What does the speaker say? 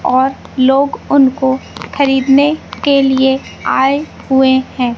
और लोग उनको खरीदने के लिए आए हुए है।